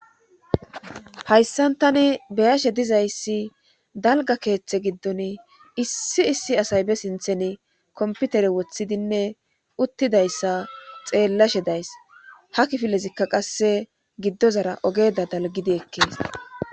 hayssan tani be'ashe dizayssi dalga keeththe giddon issi issi asay be sinthen komputere wothidinne uttidayssa xeellashe days ha kifilezikka qasse giddozara ogeda dalgidi ekkees